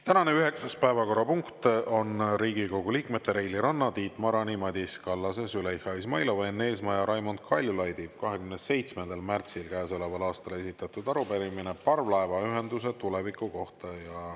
Tänane üheksas päevakorrapunkt on Riigikogu liikmete Reili Ranna, Tiit Marani, Madis Kallase, Züleyxa Izmailova, Enn Eesmaa ja Raimond Kaljulaidi 27. märtsil käesoleval aastal esitatud arupärimine parvlaevaühenduse tuleviku kohta.